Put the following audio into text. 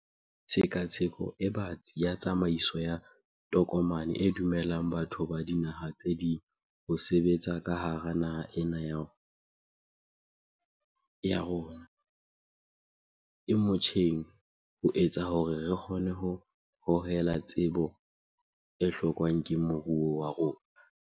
Tshekatsheko e batsi ya tsamaiso ya tokomane e dumellang batho ba dinaha tse ding ho sebetsa ka hara naha ena le yona e motjheng ho etsa hore re kgone ho hohela tsebo e hlokwang ke moruo wa rona.